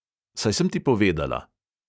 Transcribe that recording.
Saj sem ti povedala.